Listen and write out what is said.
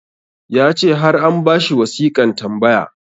ya ce har an ba shi wasiƙan tambaya